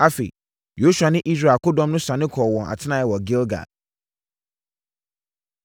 Afei, Yosua ne Israel akodɔm no sane kɔɔ wɔn atenaeɛ wɔ Gilgal.